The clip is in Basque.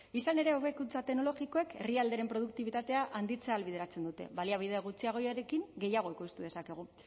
izan ere hobekuntza teknologikoek herrialderen produktibitatea handitzea ahalbideratzen dute baliabide gutxiagorekin gehiago ekoiztu dezakegu